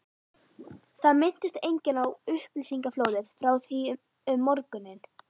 Það minntist enginn á upplýsingaflóðið frá því um morguninn.